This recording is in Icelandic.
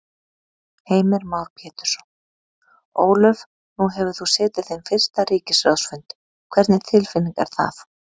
Heimir Már Pétursson: Ólöf nú hefur þú setið þinn fyrsta ríkisráðsfund, hvernig tilfinning er það?